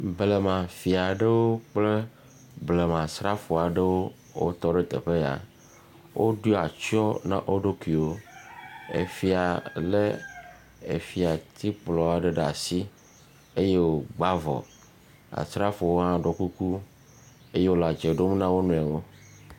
Blema fia aɖewo kple blema srafoa aɖewo wotɔ ɖe teƒe ya. Woɖo atsyiɔ na wo ɖokuiwo. Efia le efiatikplɔ aɖe ɖe asi. Eye wogba avɔ. Asrafowo hã ɖɔ kuku eye wole dze ɖom na wo nɔewo.